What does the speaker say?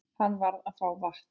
Hann varð að fá vatn.